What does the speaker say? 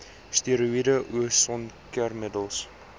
steroïede o sonskermmiddels